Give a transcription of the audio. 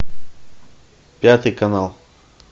пятый канал